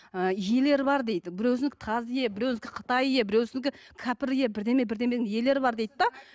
ы иелері бар дейді біреуісінікі таз ие біреуісінікі қытай иә біреуісінікі кәпір ие бірдеме бірдеменің иелер бар дейді де